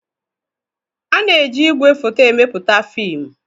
A na-eji igwefoto emepụta fiimu.